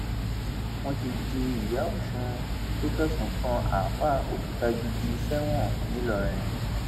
wọn ti ju ìyá ọsùn tó fẹsùn kan àáfàá òkútagídí sẹwọn ńìlọrin